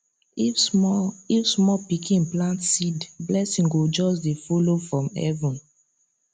if small if small pikin plant seed blessing go just dey follow from heaven